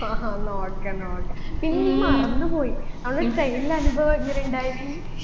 ആഹാ എന്ന okay എന്ന okay പിന്നെ നീ മറന്നു പോയി അന്ന് train ലെ അനുഭവം എങ്ങനെയുണ്ടായിന്